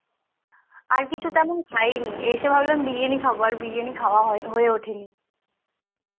আর কিছু তেমন খাইনি এসে ভাবলাম বিরিয়ানী খাবো আর বিরিয়ানী খাওয়া হয়ে ওঠেনি